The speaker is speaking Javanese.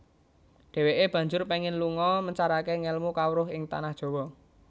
Dhèwèké banjur péngin lunga mencaraké ngèlmu kawruh ing Tanah Jawa